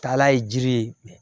Taala ye jiri ye